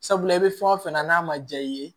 Sabula i bɛ fɛn o fɛn na n'a ma diya i ye